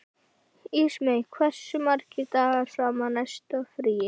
Ísmey, hversu margir dagar fram að næsta fríi?